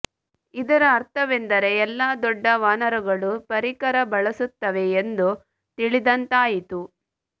ಇದರ ಅರ್ಥವೆಂದರೆ ಎಲ್ಲಾ ದೊಡ್ಡ ವಾನರಗಳೂ ಪರಿಕರ ಬಳಸುತ್ತವೆ ಎಂದು ತಿಳಿದಂತಾಯಿತು